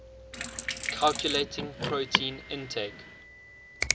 calculating protein intake